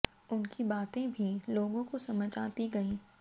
उनकी बातें भी लोगों को समझ आती गईं